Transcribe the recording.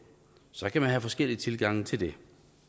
så kan man have forskellige tilgange til det